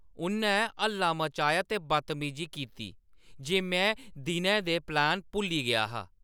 उʼन्नै हल्ला मचाया ते बदतमीजी कीती जे में दिनै दे प्लान भुल्ली गेआ हा।